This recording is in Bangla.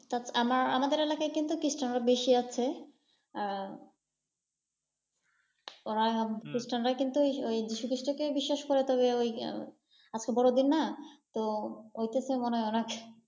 তাছাড়া আমা আমাদের এলাকায় কিন্তু খ্রিষ্টান আরও বেশি আছে। আহ ওরা, খ্রিষ্টান রা কিন্তু ওই ওই যীশু খ্রিষ্ট কেই বিশ্বাস করে তবে ওই আজকে বড়দিন না তো ওইটাতে মনে হয় ওরা।